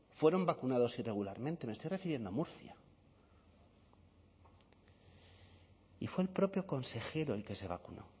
fueron vacunados irregularmente me estoy refiriendo a murcia y fue el propio consejero el que se vacunó